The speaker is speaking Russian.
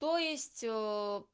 то есть